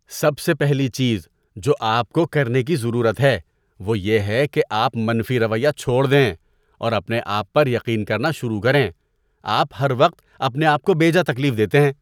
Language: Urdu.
سب سے پہلی چیز جو آپ کو کرنے کی ضرورت ہے وہ یہ ہے کہ آپ منفی رویہ چھوڑ دیں اور اپنے آپ پر یقین کرنا شروع کریں۔ آپ ہر وقت اپنے آپ کو بیجا تکلیف دیتے ہیں۔